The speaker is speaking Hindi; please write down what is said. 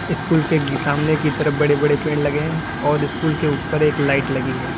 स्कूल के सामने की तरफ बड़े बड़े पेड़ लगे हैं और स्कूल के ऊपर एक लाइट लगी है।